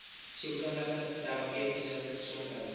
sielkundige terapeutiese gesondheids